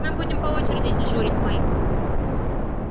мы будем по очереди дежурить майк